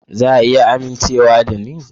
Za a iya amincewa da ni?